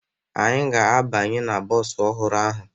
Anyị ga-abanye na bọọsụ ọhụrụ ahụ